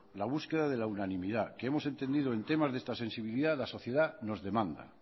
la búsqueda de la unanimidad que hemos entendido en temas de esta sensibilidad la sociedad nos demanda